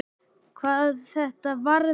hvað þetta varðar.